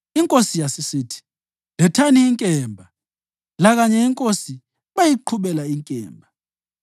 Inkosi yasisithi, “Lethani inkemba.” Lakanye inkosi bayiqhubela inkemba.